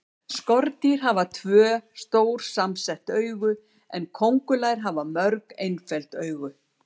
Skordýr hafa tvö, stór samsett augu en kóngulær hafa mörg, einföld augu.